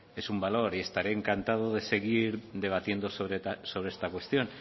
es un valor estaré encantado de seguir debatiendo sobre esta cuestión